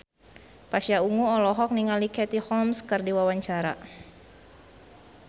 Pasha Ungu olohok ningali Katie Holmes keur diwawancara